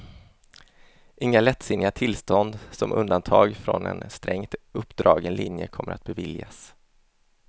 Inga lättsinniga tillstånd som undantag från en strängt uppdragen linje kommer att beviljas.